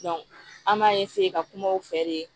an b'a ka kuma u fɛ de